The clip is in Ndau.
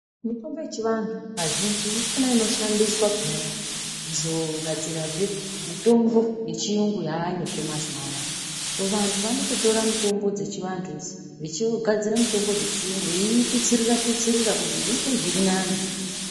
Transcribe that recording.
Mitombo yechivantu kazhinji ndiyona inoshandiswa peyani kuzogadzirazve mitombo yechiyungu yaayozve mazuva anaya. vantu vanototora mitombo dzechivantu idzi, veigadzira mutombo dzechiyungu, veitutsirira-tutsirira kuti zviite zvirinani.